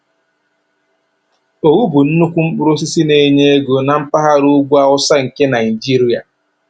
Owu bụ nnukwu mkpụrụ osisi na-enye ego na mpaghara ugwu awụsa nke Naịjiria